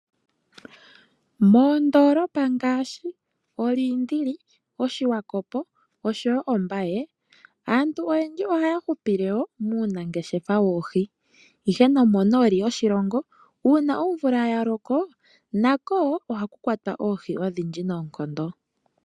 Moondolopa ngaashi, olindili, oshiwakopo, oshowo ombaye, aantu oyendji ohaya hupile muunangeshefa woohi. Ihe nomo nooli uuna omvula yaloko, nako wo ohaku kwatwa oohi odhindji noonkondo.